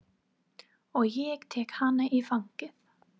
Og ég tek hana í fangið.